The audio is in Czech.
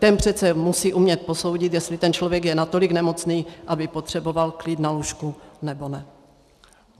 Ten přece musí umět posoudit, jestli ten člověk je natolik nemocný, aby potřeboval klid na lůžku, nebo ne.